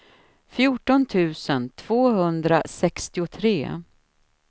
fjorton tusen tvåhundrasextiotre